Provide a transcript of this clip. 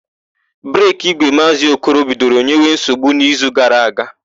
Breki ígwè Maazị Okoro bidoro nyewe nsogbu n'izu gara aga.